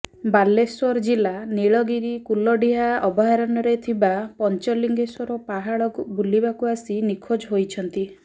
ବାଲେଶ୍ବର ଜିଲ୍ଲା ନୀଳଗିରୀ କୁଲଡିହା ଅଭୟାରଣ୍ୟରେ ଥିବା ପଞ୍ଚଲିଙ୍ଗେଶ୍ବର ପାହାଡ ବୁଲିବାକୁ ଆସି ନିଖୋଜ ହୋଇଛନ୍ତି